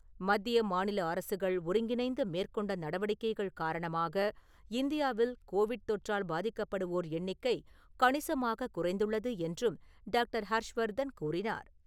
மத்திய, மாநில அரசுகள் ஒருங்கிணைந்து மேற்கொண்ட நடவடிக்கைகள் காரணமாக, இந்தியாவில் கோவிட் தொற்றால் பாதிக்கப்படுவோர் எண்ணிக்கை கணிசமாக குறைந்துள்ளது என்றும் டாக்டர். ஹர்ஷ்வர்தன் கூறினார்.